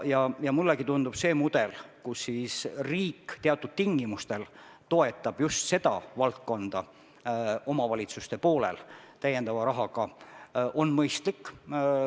Ja mullegi tundub, et see mudel, mille korral riik teatud tingimustel toetab omavalitsusi just selles valdkonnas lisarahaga, on mõistlik.